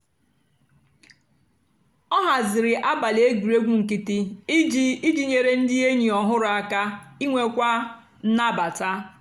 ọ hazìrì àbálị́ ègwùrègwù nkìtì ijì ijì nyèrè ndì ényì ọ̀hụrụ́ àka ìnwékwu nnàbàta.